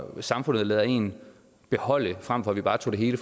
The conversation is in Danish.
som samfundet lader en beholde frem for at vi bare tager det hele